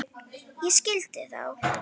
Ég skildi þá.